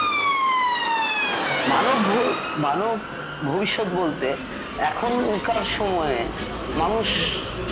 মানব ভ মানব ভবিষ্যৎ বলতে এখনকার সময়ে মানুষ